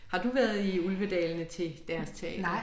Har du været i Ulvedalene til deres teater?